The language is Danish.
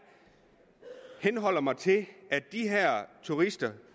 henholder mig til at de her turister